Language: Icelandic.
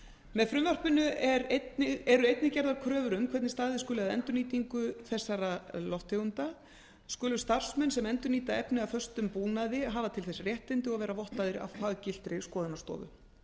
með frumvarpinu er einnig gerðar kröfur um hvernig staðið skuli að endurnýtingu flúoreraðra gróðurhúsalofttegunda skulu starfsmenn sem endurnýta efni af föstum búnaði hafa til þess réttindi og vera vottaðir af faggiltri skoðunarstofu